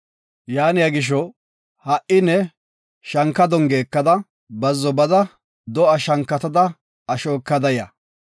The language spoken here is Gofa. Yaaniya gisho, ha7i ne shanka dongiya ekada bazzo bada do7a shankatada asho ekada ya.